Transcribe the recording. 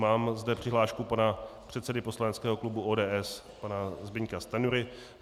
Mám zde přihlášku pana předsedy poslaneckého klubu ODS pana Zbyňka Stanjury.